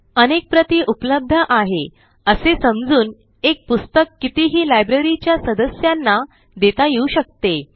अनेक प्रती उपलब्ध आहे असे समजून एक पुस्तक कितीही libraryच्या सदस्यांना देता येऊ शकते